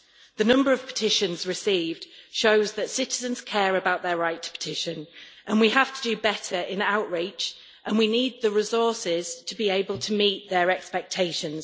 The number of petitions received shows that citizens care about their right to petition. We have to do better in outreach, and we need the resources to be able to meet their expectations.